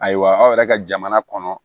Ayiwa aw yɛrɛ ka jamana kɔnɔ